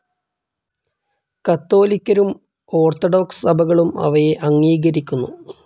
കത്തോലിക്കരും orthodox സഭകളും അവയെ അംഗീകരിക്കുന്നു.